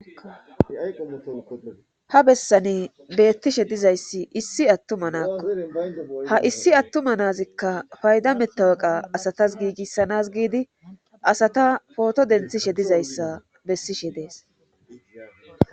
ha bessani bettishe dizayssi issi attuma naakko ha issi attuma naazikka fayda mettaweqa asatas giigissanas giidi asata pooto denthishe dizayssa bessishe dees